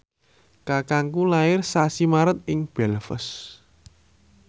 kakangku lair sasi Maret ing Belfast